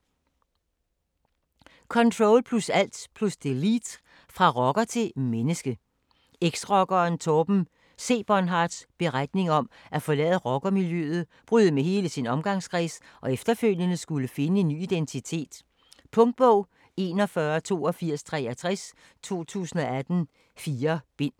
Ctrl+alt + delete: fra rocker til menneske Eks-rockeren Torben C-Bohnhardts beretning om at forlade rockermiljøet, bryde med hele sin omgangskreds og efterfølgende skulle finde en ny identitet. Punktbog 418263 2018. 4 bind.